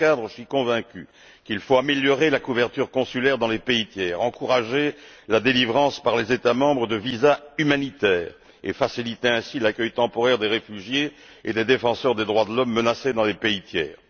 Dans ce cadre, je suis convaincu qu'il faut améliorer la couverture consulaire dans les pays tiers, encourager la délivrance par les États membres de visas humanitaires et faciliter ainsi l'accueil temporaire des réfugiés et des défenseurs des droits de l'homme menacés dans les pays tiers.